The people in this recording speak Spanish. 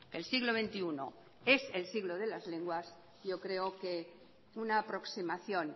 el siglo veintiuno es el siglo de las lenguas yo creo que una aproximación